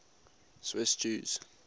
swiss jews